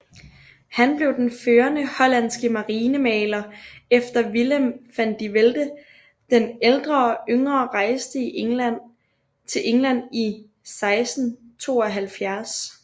Han blev den førende hollandske marinemaler efter Willem van de Velde den ældre og yngre rejste til England i 1672